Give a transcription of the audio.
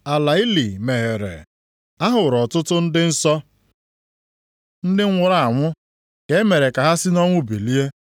Ala ili meghere. A hụrụ ọtụtụ ndị nsọ, ndị nwụrụ anwụ, ka e mere ka ha si nʼọnwụ bilie.